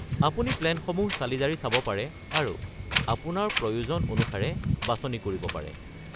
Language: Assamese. আপুনি প্লেনসমূহ চালিজাৰি চাব পাৰে আৰু আপোনাৰ প্ৰয়োজন অনুসাৰে বাছনি কৰিব পাৰে।